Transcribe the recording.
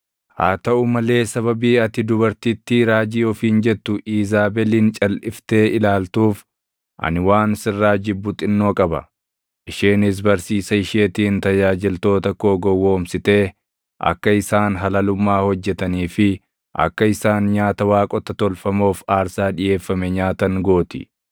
Haa taʼuu malee sababii ati dubartittii raajii ofiin jettu Iizaabelin calʼiftee ilaaltuuf ani waan sirraa jibbu xinnoo qaba. Isheenis barsiisa isheetiin tajaajiltoota koo gowwoomsitee akka isaan halalummaa hojjetanii fi akka isaan nyaata waaqota tolfamoof aarsaa dhiʼeeffame nyaatan gooti.